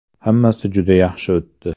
Hammasi juda yaxshi o‘tdi.